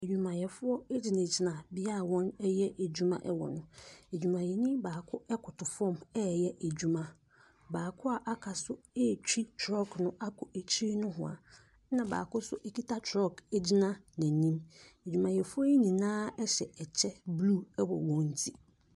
Adwumayɛfoɔ gyinagyina beaeɛ a woreyɛ adwuma ɛwɔ hɔ. Adwumayɛni baako koto fam reyɛ adwuma. Baako aka nso retwi trɔɔg akɔ akyi nohwaa. Na baako nso kita trɔɔg gyina n'anim. Adwumayɛfoɔ yi nyiaa kyɛ ble wɔ wɔn nti.